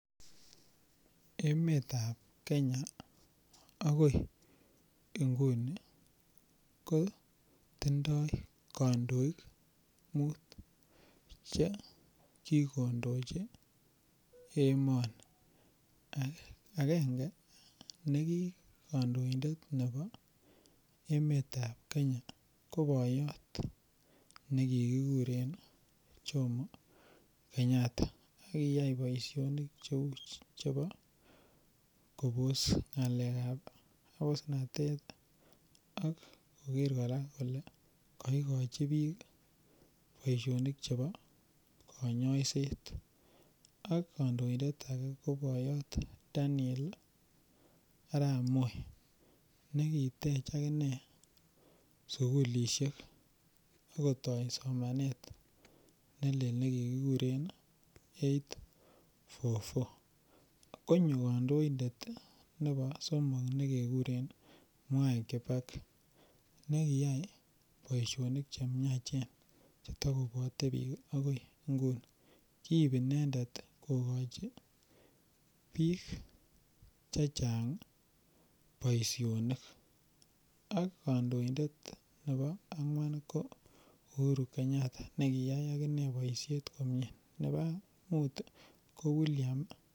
emet ab kenya agoi inguni kotindoo kandoik muut chegigondochi emoni, agenge negi kandoindet nebo emet ab kenya ko boyoot negigureen Jomo Kenyatta, kogiyaai boishonik cheuu chebo koboos ngaleek ab abusnatet ak kogeer koraa kole koigochi biik boishonik chebo konyoiseet, ak kandoinbet age ko boyoot Daniel Arab moi negiteech akinee sugulishek ak kotoo somaneet nelel negigiguren eight four four, konyo kandoindet nebo somok negeguren Mwai Kibaki negiyaai boishonik chemyachen netagobwote biik agoi inguni, kiib inendet kogochi biik chechang boishonik, ak kandoindet nebo angwaan ko Uhuru Kenyatta negiyaai ak inee boisheet komyee nebo muut iih ko William.